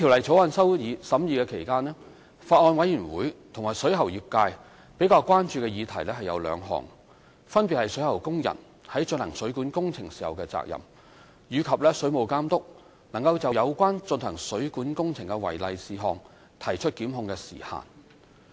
在審議《條例草案》期間，法案委員會和水喉業界比較關注的議題有兩項，分別是水喉工人在進行水管工程時的責任，以及水務監督能就有關進行水管工程的違例事項提出檢控的時限。